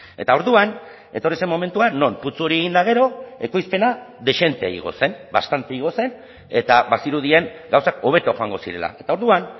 eta orduan etorri zen momentua non putzu hori egin eta gero ekoizpena dezente igo zen bastante igo zen eta bazirudien gauzak hobeto joango zirela eta orduan